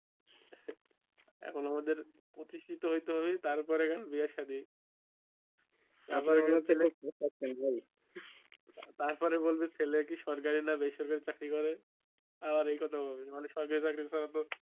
এখন আমাদের প্রতিষ্ঠিত হইতে হবে তারপরে এখন বিয়ে সাধি তারপরে বলবে ছেলে কি সরকারি না বেসরকারি চাকরি করে আবার এই কথা বলবে মানে সরকারি চাকরি ছাড়া তো